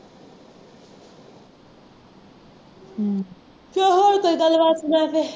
ਹੂੰ ਅਤੇ ਹੋਰ ਕੋਈ ਗੱਲਬਾਤ ਸੁਣਾ ਫੇਰ